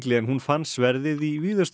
en hún fann sverðið í